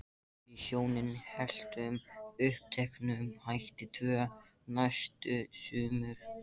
Við hjónin héldum uppteknum hætti tvö næstu sumur.